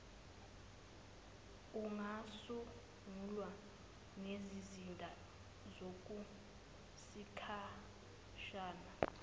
kungasungulwa nezizinda zokwesikhashana